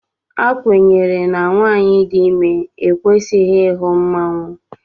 A kwenyere na nwanyị dị ime ekwesịghị ịhụ mmanwụ